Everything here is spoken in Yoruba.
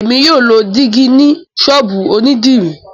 Émi yóò ló dìgí ni sọ́ọ̀bù onidiri